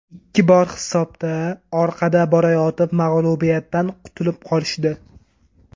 Ikki bor hisobda orqada borayotib mag‘lubiyatdan qutulib qolishdi.